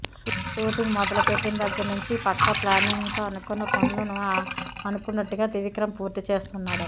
shooting మొదలుపెట్టిన దగ్గర నుంచి పక్కా ప్లానింగ్ తో అనుకున్న పనులను అనుకున్నట్టుగా త్రివిక్రమ్ పూర్తి చేస్తున్నాడట